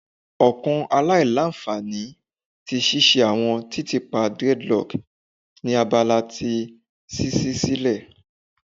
Ọkan alailanfani ti ṣiṣe awọn titiipa dreadlocks ni abala ti ṣiṣi silẹ